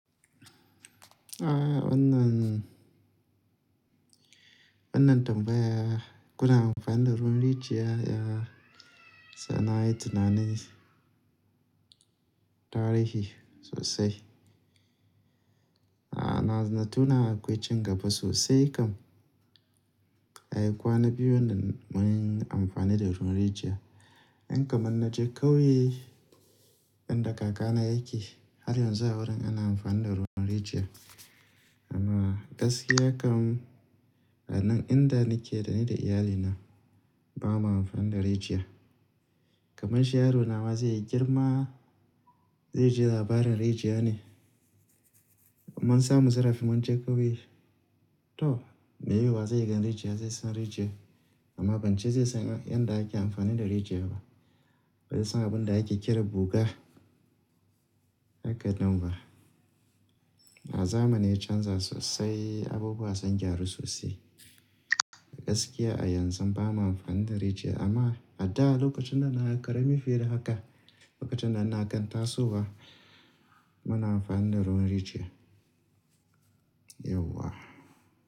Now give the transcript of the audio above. Ah wannan, wannan tambaya, kuna amfani da ruwan rijiya? Ya sa na yi tunanin tarihi sosai. Ah na tuna da ƙoicin gaba sosai kam. Ai kwana biyu ne da mun yi amfani da ruwan rijiya. In kamanna je ƙauye inda kakana yake, har yanzu a wurin ana amfani da ruwan rijiya. Amma gaskiya kam a nan inda nake da ni da iyalina, ba mu amfani da rijiya. Kaman shi yarona ma zai yi girma, zai ji labarin rijiya ne. Kaman sa mu zara fimon je ƙauye, to me ya yi wa zai gani rijiya, zai san rijiya. Amma ban ce zai san inda ake amfani da rijiya ba, bai san abin da ake kira buga, haka nan ba. A zamanin can za su sosai abubuwa sun jaru sosai. Gaskiya a yanzu ba mu amfani da rijiya amma a da lokacin da na yi ƙarami fiye da haka, lokacin da na kan tasowa, muna amfani da ruwan rijiya. Yauwa.